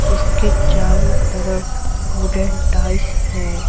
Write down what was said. इसके चारों तरफ वुडेन टाइस हैं।